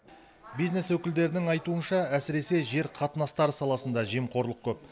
бизнес өкілдерінің айтуынша әсіресе жер қатынастары саласында жемқорлық көп